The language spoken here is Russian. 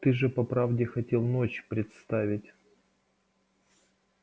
ты же по правде хотел ночь представить